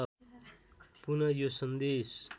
पुन यो सन्देश